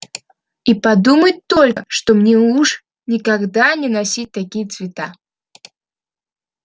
и подумать только что мне уж никогда не носить такие цвета